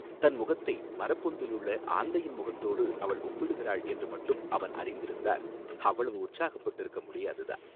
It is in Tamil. தன் முகத்தை மரப்பொந்திலுள்ள ஆந்தையின் முகத்தோடு அவள் ஒப்பிடுகிறாள் என்று மட்டும் அவன் அறிந்திருந்தால் அவ்வளவு உற்சாகப்பட்டிருக்க முடியாது தான்.